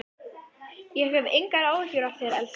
Ég hef engar áhyggjur af þér, elskan mín.